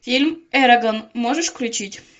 фильм эрагон можешь включить